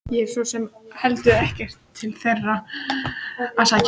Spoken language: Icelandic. Ég hef svo sem heldur ekkert til þeirra að sækja.